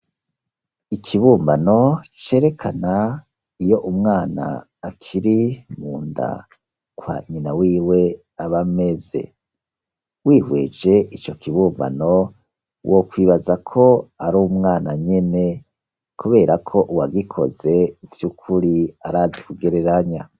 Ikibumbano, cerekana iyo umwana, akiri munda kwa nyina wiwe, aba ameze; wihweje ico kibumbano, wokwibaza ko ari umwana nyene, kubera ko uwagikoze, vy'ukuri, arazi kugereranya.